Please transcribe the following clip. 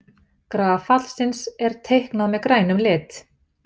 Graf fallsins er teiknað með grænum lit.